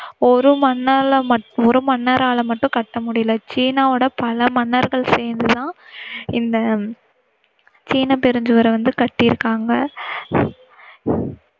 ஒரு மன்னரால் ம~ஒரு மன்னரால் மட்டும் கட்ட முடியல சீனாவோட பல மன்னர்கள் சேர்ந்து தான் இந்த சீன பெருஞ்சுவர வந்து கட்டிருக்காங்க.